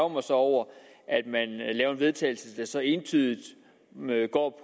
mig så over at vedtagelse der så entydigt